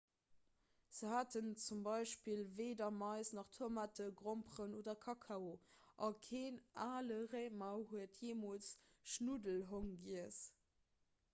se haten zum beispill weeder mais nach tomaten gromperen oder kakao a keen ale réimer huet jeemools schnuddelhong giess